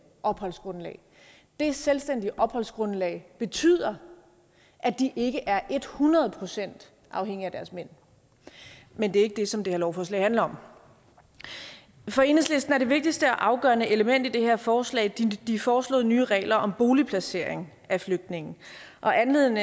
opholdsgrundlag det selvstændige opholdsgrundlag betyder at de ikke er et hundrede procent afhængige af deres mænd men det er ikke det som det her lovforslag handler om for enhedslisten er det vigtigste og afgørende element i det her forslag de foreslåede nye regler om boligplacering af flygtninge og anledningen